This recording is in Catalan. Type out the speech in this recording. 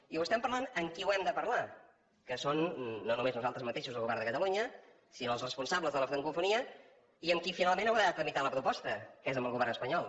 i ho estem parlant amb qui ho hem de parlar que són no només nosaltres mateixos el govern de catalunya sinó els responsables de la francofonia i amb qui finalment haurà de tramitar la proposta que és amb el govern espanyol